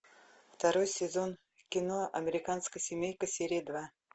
второй сезон кино американская семейка серия два